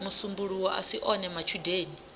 musumbuluwo a si one matshudeni